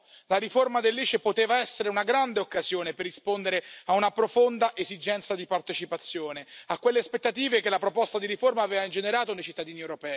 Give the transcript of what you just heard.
La riforma dell'ICE poteva essere una grande occasione per rispondere a una profonda esigenza di partecipazione, a quelle aspettative che la proposta di riforma aveva ingenerato nei cittadini europei.